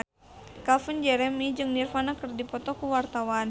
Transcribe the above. Calvin Jeremy jeung Nirvana keur dipoto ku wartawan